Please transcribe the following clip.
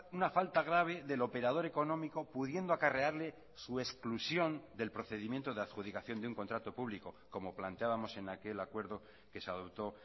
una falta grave del operador económico pudiendo acarrearle su exclusión del procedimiento de adjudicación de un contrato público como planteábamos en aquel acuerdo que se adoptó